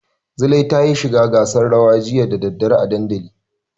Zulai tayi shiga gasar rawa jiya da daddare a dandali.